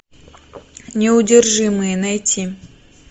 неудержимые найти